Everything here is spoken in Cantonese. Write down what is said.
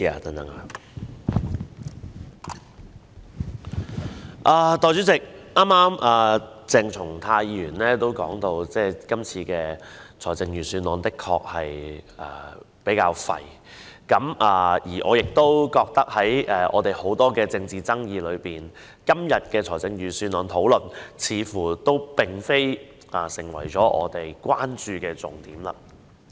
代理主席，剛才鄭松泰議員曾表示，這份財政預算案比較"廢"，而我也認為，在現今眾多的政治議題當中，大會今天討論的預算案，似乎並非我們關注的重點。